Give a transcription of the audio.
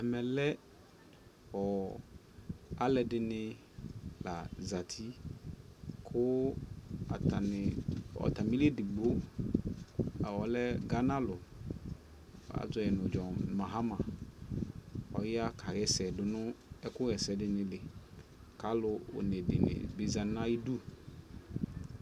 ɛmɛ alʋɛdini la zati kʋ atani li ɛdigbɔ ɔlɛ Ghana lʋ, azɔɛ nʋ John Mahama, ɔya kayɛsɛ dʋnʋ ɛkʋ yɛsɛ dinili kʋ alʋ ɔnɛ dini zanʋ ayidʋ